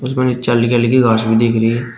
इसमें हल्की घास भी दिख रही--